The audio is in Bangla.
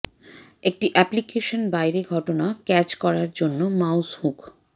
একটি অ্যাপ্লিকেশন বাইরে ঘটনা ক্যাচ করার জন্য মাউস হুক